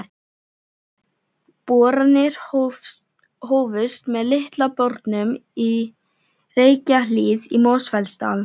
Boranir hófust með Litla bornum í Reykjahlíð í Mosfellsdal.